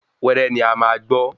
Wẹ́rẹ́ ni a maá gbọ́